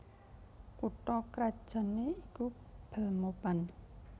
Kutha krajanné iku Belmopan